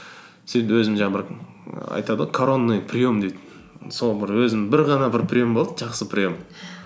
сөйтіп өзім жаңағы бір айтады ғой коронный прием дейді сол бір өзім бір ғана бір прием болды жақсы прием